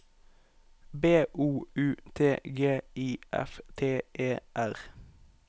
B O U T G I F T E R